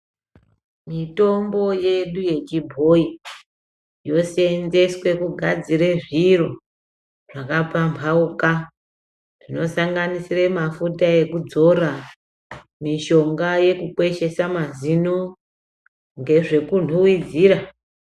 Mitombo yedu ye chibhoyi yosenzeswe kugadzire zviro zvaka pambauka zvino sanganisire mafuta ekudzora mishonga yeku kweshesa mazino ngezve ku nhuhwidzira.